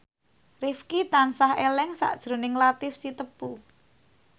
Rifqi tansah eling sakjroning Latief Sitepu